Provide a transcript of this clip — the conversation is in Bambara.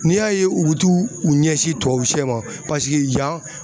N'i y'a ye u bu t'u ɲɛsin tubabusɛ ma paseke yan